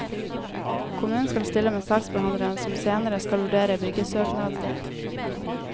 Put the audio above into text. Kommunen skal stille med saksbehandleren som senere skal vurdere byggesøknaden din.